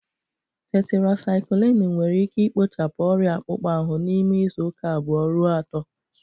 Tetirasaikilinu nwere ike ikpochapụ ọrịa akpụkpọ ahụ n'ime izu uka abuo ruo ato.